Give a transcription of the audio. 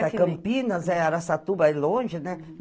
Até Campinas, é Araçatuba é longe, né?